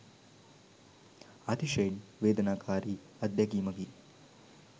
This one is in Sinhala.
අතිශයින් වේදනාකාරි අත්දැකීමකි.